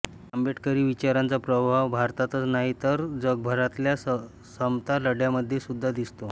आंबेडकरी विचारांचा प्रभाव भारतातच नाही तर जगभरातल्या समता लढ्यांमध्ये सुद्धा दिसतो